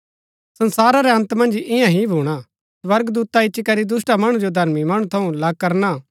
संसारा रै अन्त मन्ज ईयां ही भूणा स्वर्गदूता इच्ची करी दुष्‍टा मणु जो धर्मी मणु थऊँ अलग करना